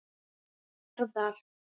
Garðar